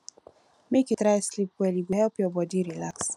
make you try sleep well e go help your bodi relax